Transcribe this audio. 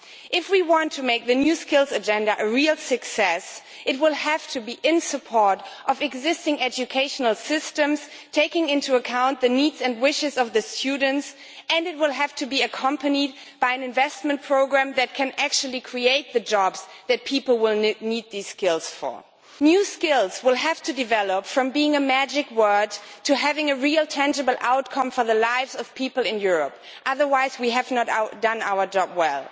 If we want to make the new Skills Agenda a real success it will have to be in support of existing educational systems, taking into account the needs and wishes of the students, and it will have to be accompanied by an investment programme that can actually create the jobs that people will need these skills for. New skills will have to develop from being a magic word to having a real tangible outcome for the lives of people in Europe, otherwise we have not done our job well.